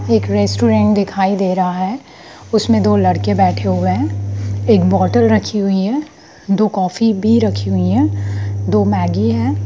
एक रेस्ट्रोरेंट दिखाई दे रहा है उसमें दो लड़के बैठे हुए हैं एक बॉटल रखी हुई है दो कॉफी भी रखी हुई है एक मैगी भी है।